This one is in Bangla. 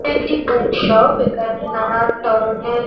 একটি বুক শপ এখানে নানান ধরণের--